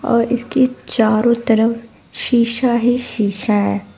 और इसके चारों तरफ शीशा ही शीशा है।